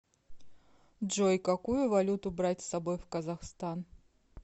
джой какую валюту брать с собой в казахстан